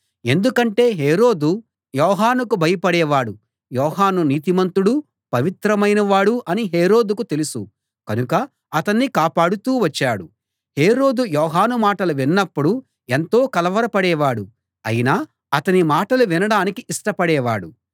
ఎందుకంటే హేరోదు యోహానుకు భయపడేవాడు యోహాను నీతిమంతుడు పవిత్రమైనవాడు అని హేరోదుకు తెలుసు కనుక అతణ్ణి కాపాడుతూ వచ్చాడు హేరోదు యోహాను మాటలు విన్నప్పుడు ఎంతో కలవర పడేవాడు అయినా అతని మాటలు వినడానికి ఇష్టపడేవాడు